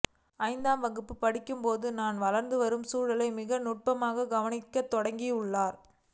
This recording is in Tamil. ஐந்தாம் வகுப்பு படிக்கும்போதே தான் வளர்ந்துவரும் சூழலை மிக நுட்பமாகக் கவனிக்கத் தொடங்கியுள்ளார்